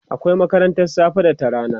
akwai makarantan safe da ta rana